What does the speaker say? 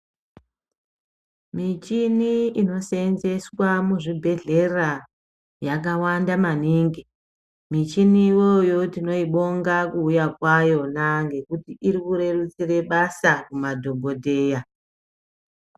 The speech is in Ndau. Michini inoseenzeswa muzvibhedhleya yakawanda maningi michini iyoyo tinoibonga kuuya kwayona nekuti iri kurerutsira basa kumadhokodheya.